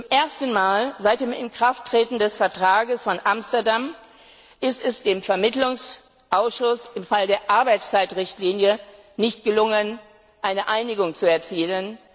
Zum ersten Mal seit dem Inkrafttreten des Vertrags von Amsterdam ist es dem Vermittlungsausschuss im Fall der Arbeitszeitrichtlinie nicht gelungen, eine Einigung zu erzielen.